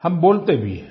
हम बोलते भी हैं